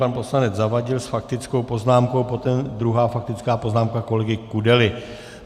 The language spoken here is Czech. Pan poslanec Zavadil s faktickou poznámkou, potom druhá faktická poznámka kolegy Kudely.